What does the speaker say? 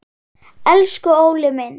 Elsku Óli minn.